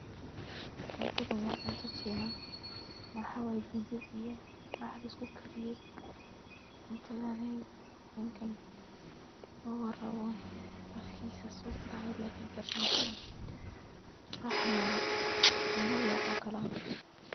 Cuntadan waa cunto China, waxaa way digir iyo raax lisku kariye, cuntadaneey ninkan mawa rabo ,afkiisa siduu dhahaayo lee ka gareneysaa, raax nool China lee cun karaa .